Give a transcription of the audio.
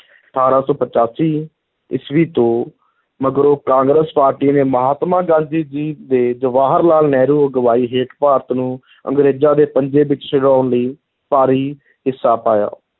ਅਠਾਰਾਂ ਸੌ ਪਚਾਸੀ ਈਸਵੀ ਤੋਂ ਮਗਰੋਂ ਕਾਂਗਰਸ ਪਾਰਟੀ ਨੇ ਮਹਾਤਮਾ ਗਾਂਧੀ ਜੀ ਤੇ ਜਵਾਹਰ ਲਾਲ ਨਹਿਰੂ ਅਗਵਾਈ ਹੇਠ ਭਾਰਤ ਨੂੰ ਅੰਗਰੇਜ਼ਾਂ ਦੇ ਪੰਜੇ ਵਿਚੋਂ ਛੁਡਾਉਣ ਲਈ ਭਾਰੀ ਹਿੱਸਾ ਪਾਇਆ।